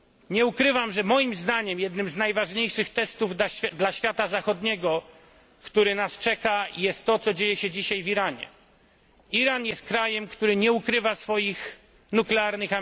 Nie ukrywam, że moim zdaniem jednym z najważniejszych testów dla świata zachodniego, który nas czeka jest to, co dzieje się dzisiaj w Iranie. Iran jest krajem, który nie ukrywa swoich ambicji nuklearnych.